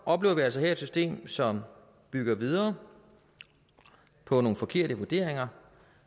oplever altså her et system som bygger videre på nogle forkerte vurderinger